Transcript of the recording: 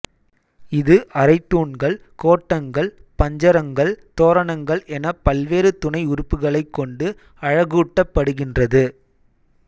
இது அரைத்தூண்கள் கோட்டங்கள் பஞ்சரங்கள் தோரணங்கள் எனப் பல்வேறு துணை உறுப்புக்களைக் கொண்டு அழகூட்டப்படுகின்றது